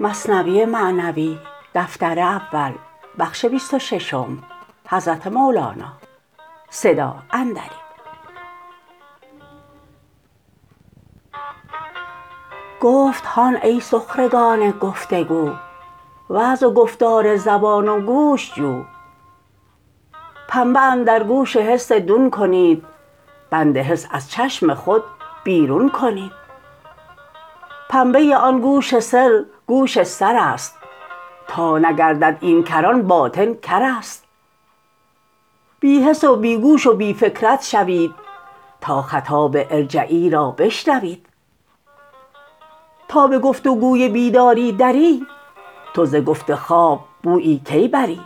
گفت هان ای سخرگان گفت و گو وعظ و گفتار زبان و گوش جو پنبه اندر گوش حس دون کنید بند حس از چشم خود بیرون کنید پنبه آن گوش سر گوش سرست تا نگردد این کر آن باطن کرست بی حس و بی گوش و بی فکرت شوید تا خطاب ارجعی را بشنوید تا به گفت و گوی بیداری دری تو زگفت خواب بویی کی بری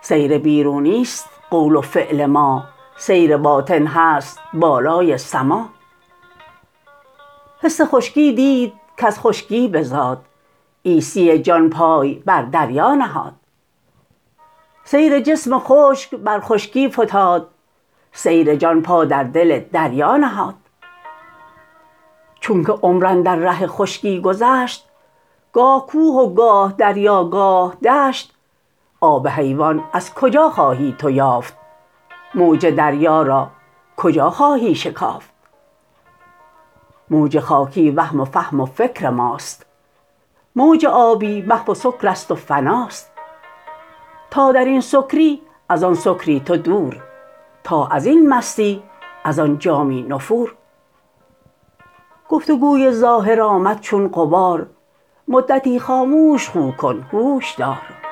سیر بیرونیست قول و فعل ما سیر باطن هست بالای سما حس خشکی دید کز خشکی بزاد عیسی جان پای بر دریا نهاد سیر جسم خشک بر خشکی فتاد سیر جان پا در دل دریا نهاد چونک عمر اندر ره خشکی گذشت گاه کوه و گاه دریا گاه دشت آب حیوان از کجا خواهی تو یافت موج دریا را کجا خواهی شکافت موج خاکی وهم و فهم و فکر ماست موج آبی محو و سکرست و فناست تا درین سکری از آن سکری تو دور تا ازین مستی از آن جامی نفور گفت و گوی ظاهر آمد چون غبار مدتی خاموش خو کن هوش دار